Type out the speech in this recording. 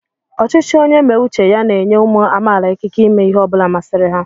ọchịchị onye mé uche ya n'enyé umu amaala ikike ímé ihe ọbula masịrị ha